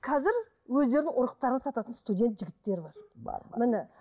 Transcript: қазір өздерінің ұрықтарын сататын студент жігіттер бар бар бар міне